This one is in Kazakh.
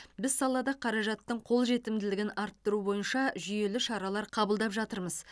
біз салада қаражаттың қолжетімділігін арттыру бойынша жүйелі шаралар қабылдап жатырмыз